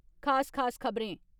खास खास खब'रें